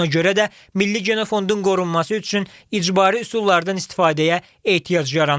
Ona görə də milli genofondun qorunması üçün icbari üsullardan istifadəyə ehtiyac yaranıb.